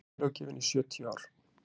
vinnulöggjöfin í sjötíu ár